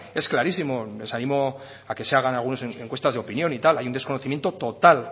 es clarísimo les animo a que se hagan algunas encuestas de opinión y tal hay un desconocimiento total